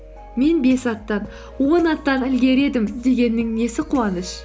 мен бес аттан он аттан ілгері едім дегеннің несі қуаныш